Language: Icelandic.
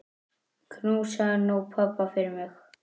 Knúsaðu nú pabba fyrir mig.